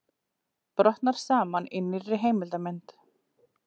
Brotnar saman í nýrri heimildarmynd